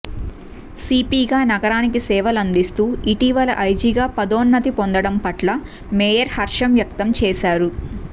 సీపీగా నగరానికి సేవలందిస్తూ ఇటీవల ఐజీగా పదోన్నతి పొందడం పట్ల మేయర్ హర్షం వ్యక్తం చేశారు